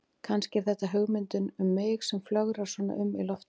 Kannski er þetta hugmyndin um mig sem flögrar svona um í loftinu.